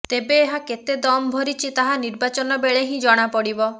ତେବେ ଏହା କେତେ ଦମ ଭରିଛି ତାହା ନିର୍ବାଚନ ବେଳେ ହିଁ ଜଣା ପଡିବ